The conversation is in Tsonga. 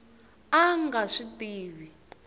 a a nga swi tivi